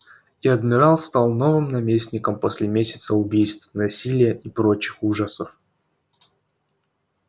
и адмирал стал новым наместником после месяца убийств насилия и прочих ужасов